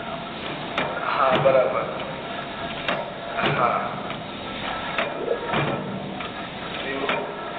હા બરાબર હા એવું,